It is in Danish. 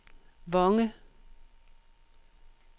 Vonge